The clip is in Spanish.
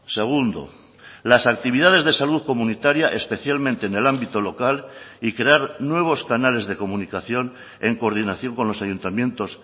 segundo las actividades de salud comunitaria especialmente en el ámbito local y crear nuevos canales de comunicación en coordinación con los ayuntamientos